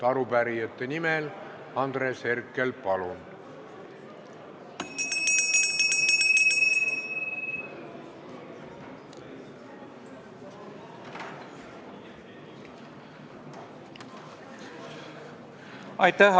Arupärijate nimel Andres Herkel, palun!